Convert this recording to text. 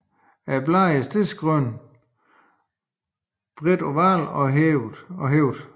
Bladene er stedsegrønne og bredt ovale og hvælvede